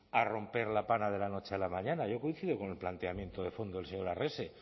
a romper la pana de la noche a la mañana yo coincido con el planteamiento de fondo del señor arrese